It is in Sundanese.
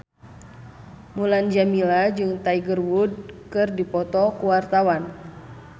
Mulan Jameela jeung Tiger Wood keur dipoto ku wartawan